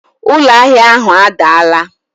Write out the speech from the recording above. Ụlọ ahịa ahụ adaala